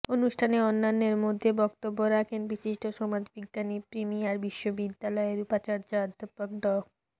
অনুষ্ঠানে অন্যান্যের মধ্যে বক্তব্য রাখেন বিশিষ্ট সমাজবিজ্ঞানী প্রিমিয়ার বিশ্ববিদ্যালয়ের উপাচার্য অধ্যাপক ড